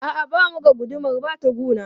A'a, ba mu ga gudumar ba tukuna.